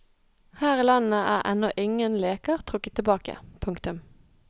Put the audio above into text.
Her i landet er ennå ingen leker trukket tilbake. punktum